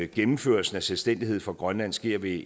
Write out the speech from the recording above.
gennemførelsen af selvstændighed for grønland sker ved